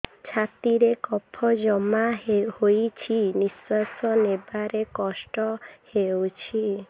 ଛାତିରେ କଫ ଜମା ହୋଇଛି ନିଶ୍ୱାସ ନେବାରେ କଷ୍ଟ ହେଉଛି